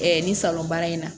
nin salon baara in na